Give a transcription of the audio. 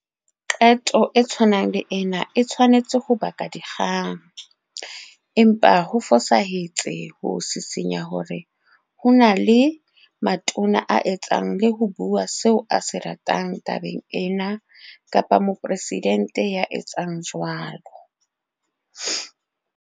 Qeto e tshwanang le ena e tshwanetse ho baka dikgang, empa ho fosahetse ho sisinya hore ho na le Matona a etsang le ho bua seo a se ratang tabeng ena kapa Moporesidente ya etsang jwalo.